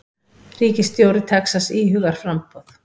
Ríkisstjóri Texas íhugar framboð